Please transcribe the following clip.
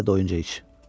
Sən də doyunca iç.